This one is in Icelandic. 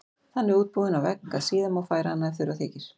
Þannig útbúin á vegg að síðar má færa hana ef þurfa þykir.